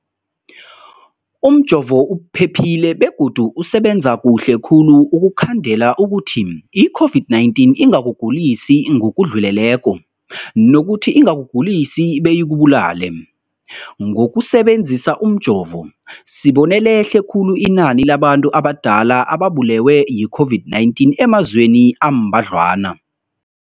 Ipendulo, umjovo uphephile begodu usebenza kuhle khulu ukukhandela ukuthi i-COVID-19 ingakugulisi ngokudluleleko, nokuthi ingakugulisi beyikubulale. Ngokusebe nzisa umjovo, sibone lehle khulu inani labantu abadala ababulewe yi-COVID-19 emazweni ambadlwana.